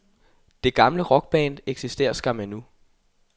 Det gamle rockband eksisterer skam endnu.